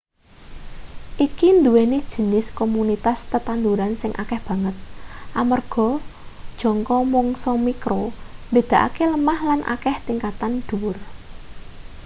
iki nduweni jinis komunitas tetanduran sing akeh banget amarga jangka mangsa mikro mbedakake lemah lan akeh tingkatan dhuwur